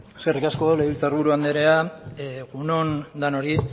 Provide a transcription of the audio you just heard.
eskerrik asko legebiltzar buru andrea egun on denoi